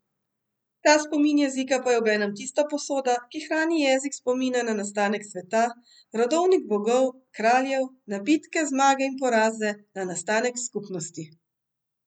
Ta spomin jezika pa je obenem tista posoda, ki hrani jezik spomina na nastanek sveta, rodovnik bogov, kraljev, na bitke, zmage in poraze, na nastanek skupnosti.